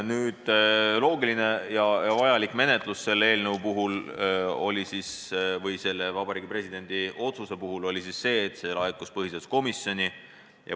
Loogiline ja vajalik menetlus selle Vabariigi Presidendi otsuse puhul oli see, et see laekus põhiseaduskomisjoni.